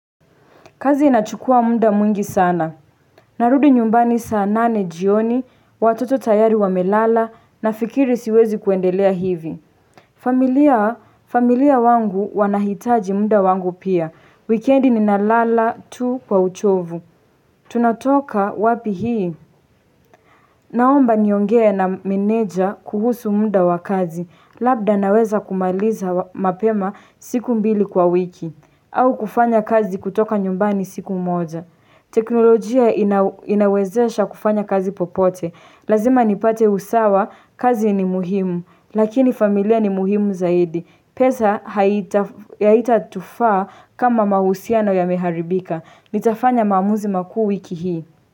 Kazi inachukua muda mwingi sana. Narudi nyumbani saa nane jioni, watoto tayari wamelala, nafikiri siwezi kuendelea hivi. Familia wangu wanahitaji muda wangu pia. Wikendi ninalala tu kwa uchovu. Tunatoka wapi hii? Naomba niongea na meneja kuhusu muda wa kazi. Labda naweza kumaliza mapema siku mbili kwa wiki. Au kufanya kazi kutoka nyumbani siku moja. Teknolojia inawezesha kufanya kazi popote Lazima nipate usawa, kazi ni muhimu Lakini familia ni muhimu zaidi pesa haitatufaa kama mahusiano yameharibika Nitafanya maamuzi makuu wiki hii.